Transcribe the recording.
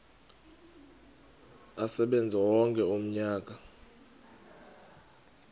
asebenze wonke umnyaka